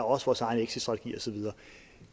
også vores egen exitstrategi og så videre